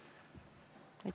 Aitäh!